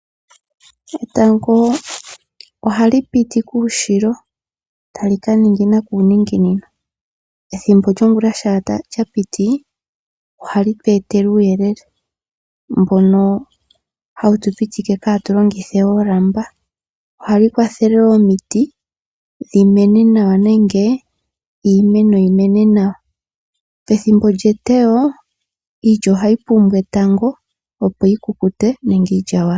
Etango ohali piti kuushilo, tali kaningina kuuninginino. Ethimbo lyongula shampa lyapiti ohali tu etele uuyelele mbono hawu tupitike katu longithe we oolamba. Ohali kwathele wo omiti dhimene nawa nenge iimeno yimene nawa. Pethimbo lyetewo iilya ohayi pumbwa etango opo yikukute nenge iilyawala.